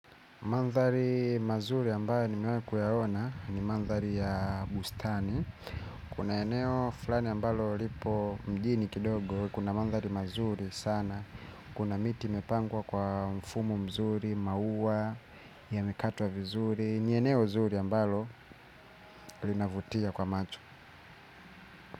Mandhali mazuri ambayo nimewahi kuyaona ni mandhari ya bustani. Kuna eneo flani ambalo lipo mjini kidogo, kuna mandhari mazuri sana. Kuna miti imepangwa kwa mfumo mzuri, maua, yamekatwa vizuri, ni eneo mzuri ambalo linavutia kwa macho.